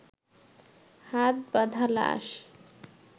হাত বাঁধা লাশ